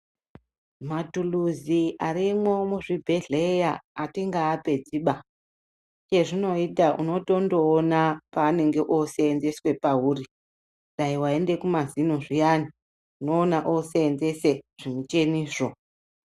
Matuluzi arimwo muzvibhedhleya atingaapedziba chezvinoita uno tondoona paanenge osenzeswe pauri dai waende kumazino zviyani unoona osenzese zvimucheni zvo.